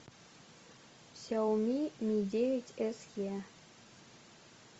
сяоми ми девять с е